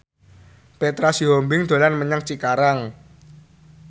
Petra Sihombing dolan menyang Cikarang